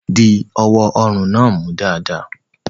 Di ọwọ́ ọrùn náà mú dáadáa.